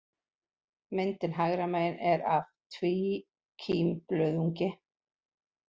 Myndin hægra megin er af tvíkímblöðungi.